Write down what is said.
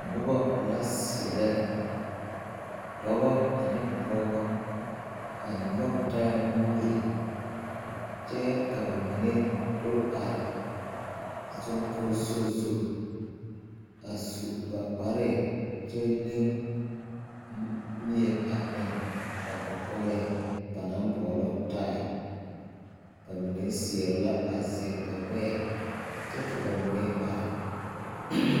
Nobɔ la seɛrɛ dɔbɔ ane pɔgebɔ a nyɔge taa nuuri kyɛ ka ba mine do are soŋkoso zu a su ba kparre kyɛ leŋ mie a eŋ ba kɔkɔlɛɛ ba naŋ boɔlɔ taɛ ba mime seɛrɛ la a zɛle ba gbɛɛ kyɛ ka ba mine are.